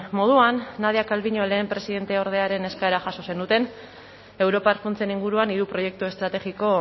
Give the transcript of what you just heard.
moduan nadia calviño lehen presidenteordearen eskaera jaso zenuten europar funtsen inguruan hiru proiektu estrategiko